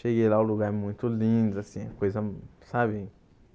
Cheguei lá, um lugar muito lindo, assim, coisa, sabe?